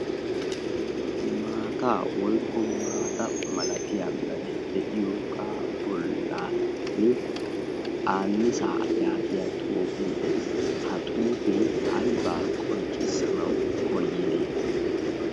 maataa woykko maata malatiya mere de'iyoga bollan aannisa yaagiya xuufee dees ha xuufi aibaa qonccissanau koyide?